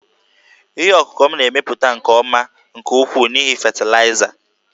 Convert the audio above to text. Ihe ọkụkụ m na-emepụta nke ọma nke ukwuu n'ihi fatịlaịza